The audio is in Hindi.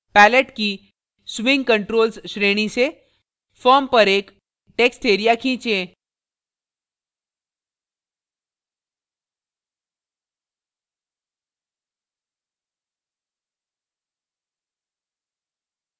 palette की swing controls श्रेणी से form पर एक text area खींचे